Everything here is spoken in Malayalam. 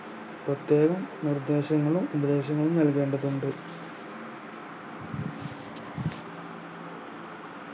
പ്രത്യേകം നിർദ്ദേശങ്ങളും ഉപദേശങ്ങളും നൽകേണ്ടതുണ്ട്